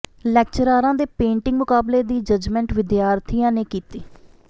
ਲੈਕਚਰਾਰਾਂ ਦੇ ਪੇਂਟਿੰਗ ਮੁਕਾਬਲੇ ਦੀ ਜੱਜਮੈਂਟ ਵਿਦਿਆਰਥੀਆਂ ਨੇ ਕੀਤੀ